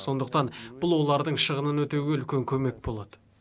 сондықтан бұл олардың шығынын өтеуге үлкен көмек болады